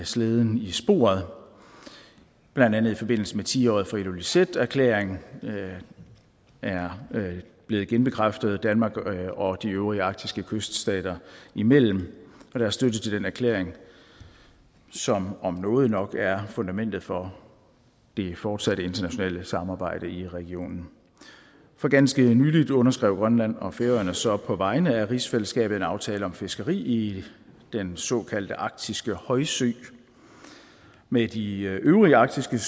slæden i sporet blandt andet i forbindelse med at tiåret for ilulissaterklæringen er blevet genbekræftet danmark og de øvrige arktiske kyststater imellem og der er støtte til den erklæring som om noget nok er fundamentet for det fortsatte internationale samarbejde i regionen for ganske nylig underskrev grønland og færøerne så på vegne af rigsfællesskabet en aftale om fiskeri i den såkaldte arktiske højsø med de øvrige arktiske